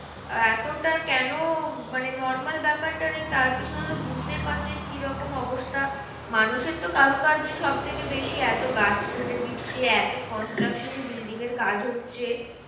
এতটা কেন মানে normal ব্যাপারটা নেই তার পিছনে তো বুজতেই পারছো যে কি রকম অবস্থা? মানুষের তো কারুকার্যে সব থেকে বেশি। এত গাছ কেটে দিচ্ছে। এত constraction building এর কাজ হচ্ছে।